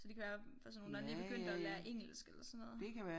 Så det kan være personer der lige er begyndt at lære engelsk eller sådan noget